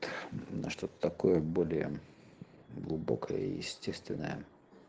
что такое более глубокое и естественное